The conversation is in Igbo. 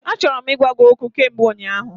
Achọrọ m ịgwa gị okwu kamgbe ụnyaahụ.